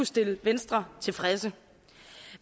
stille venstre tilfredse